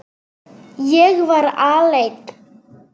Ég var alein.